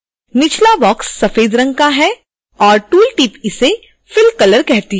निचला बॉक्स सफ़ेद रंग का है और टूल टिप इसे fill color कहती है